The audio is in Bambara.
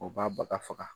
U b'a baga faga